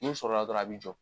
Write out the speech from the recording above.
N'o sɔrɔ la dɔrɔn a bɛ jɔ.